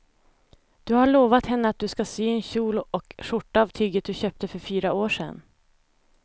Du har lovat henne att du ska sy en kjol och skjorta av tyget du köpte för fyra år sedan.